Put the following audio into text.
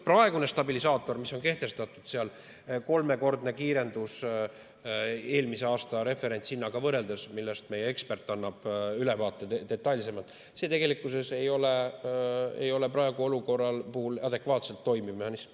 Praegune stabilisaator, mis on kehtestatud, kolmekordne kiirendus eelmise aasta referentshinnaga võrreldes, millest meie ekspert annab detailsemalt ülevaate, ei ole praeguses olukorras adekvaatselt toimiv mehhanism.